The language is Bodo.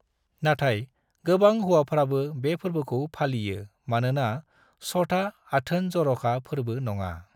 नाथाय, गोबां हौवाफ्राबो बे फोरबोखौ फालियो मानोना छठआ आथोन-जर'खा फोरबो नङा।